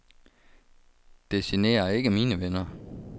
Det generer ikke mine venner.